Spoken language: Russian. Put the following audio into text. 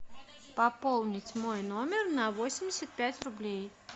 пополнить мой номер на восемьдесят пять рублей